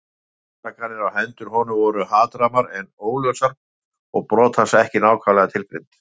Ásakanirnar á hendur honum voru hatrammar en óljósar og brot hans ekki nákvæmlega tilgreind.